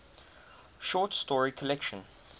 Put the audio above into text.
short story collection